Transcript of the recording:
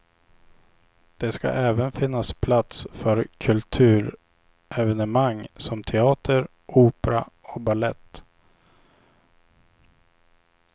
Det ska även finnas plats för kulturevenemang som teater, opera och balett.